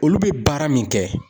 Olu bɛ baara min kɛ.